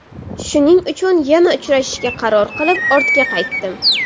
Shuning uchun yana uchrashishga qaror qilib, ortga qaytdim.